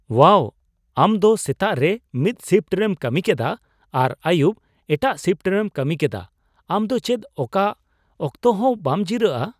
ᱳᱣᱟᱣ ! ᱟᱢ ᱫᱚ ᱥᱮᱛᱟᱜ ᱨᱮ ᱢᱤᱫ ᱥᱤᱯᱷᱴ ᱨᱮᱢ ᱠᱟᱹᱢᱤ ᱠᱮᱫᱟ ᱟᱨ ᱟᱹᱭᱩᱵ ᱮᱴᱟᱜ ᱥᱤᱯᱷᱴ ᱨᱮᱢ ᱠᱟᱹᱢᱤ ᱠᱮᱫᱟ ! ᱟᱢ ᱫᱚ ᱪᱮᱫ ᱚᱠᱟ ᱚᱠᱛᱚᱦᱚᱸ ᱵᱟᱢ ᱡᱤᱨᱟᱹᱜᱼᱟ ?